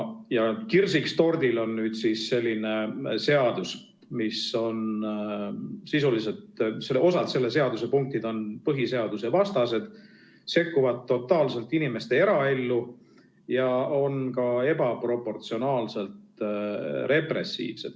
Ja kirsiks tordil on selline seadus, mille punktid on osalt põhiseadusevastased, sekkuvad totaalselt inimeste eraellu ja on ka ebaproportsionaalselt repressiivsed.